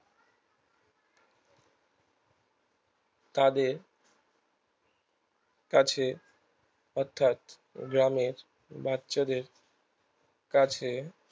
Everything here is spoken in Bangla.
তাদের কাছে অর্থাৎ গ্রামের বাচ্চাদের কাছে